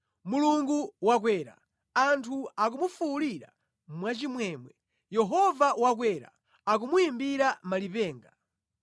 Mulungu wakwera, anthu akumufuwulira mwachimwemwe, Yehova wakwera, akumuyimbira malipenga.